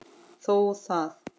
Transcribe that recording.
Þó það.